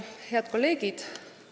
Hea kolleegid!